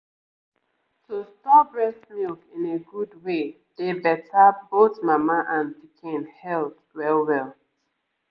to store breast milk in a good way dey better both mama and pikin health well-well